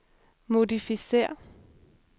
modificér